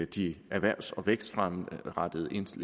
de erhvervs og vækstrettede